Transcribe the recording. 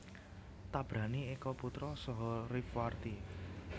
Tabrani Eka Putra saha Rifwarti